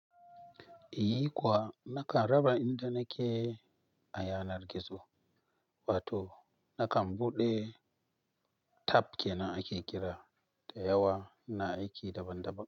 Iyi kuwa nakan raba inda nake a yanar gizo, wato nakan buɗe tab kenan ake kira da yawa ina aiki daban-daban.